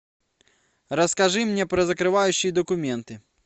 расскажи мне про закрывающие документы